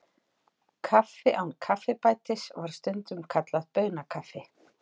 Kaffi án kaffibætis var stundum kallað baunakaffi.